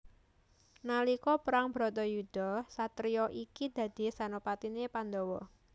Nalika perang Bratayuda satriya iki dadi senopatiné Pandhawa